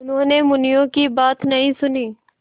उन्होंने मुनिया की बात नहीं सुनी